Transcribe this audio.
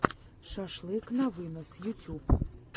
шашлык на вынос ютьюб